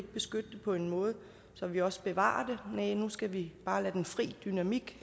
beskytte det på en måde så vi også bevarer næh nu skal vi bare lade den fri dynamik